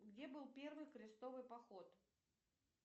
где был первый крестовый поход